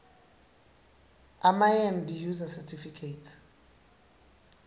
emaend user certificates